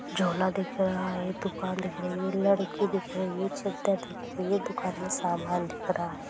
झोला दिख रहा है| दुकान दिख रही है| लड़की दिख रही है| चदर दिख रही है| दुकान मे समान दिख रहा है।